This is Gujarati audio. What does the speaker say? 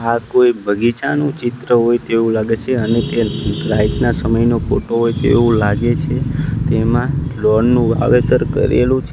આ કોઈ બગીચાનું ચિત્ર હોય તેવું લાગે છે અને તે રાઈતના સમય નો ફોટો હોય તેવું લાગે છે તેમાં લોન નું વાવેતર કરેલું છે.